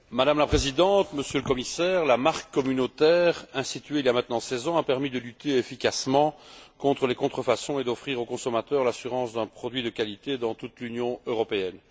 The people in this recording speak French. Madame la Présidente, Monsieur le Commissaire, la marque communautaire, instituée il y a maintenant seize ans, a permis de lutter efficacement contre les contrefaçons et d'offrir aux consommateurs l'assurance d'un produit de qualité dans toute l'Union européenne.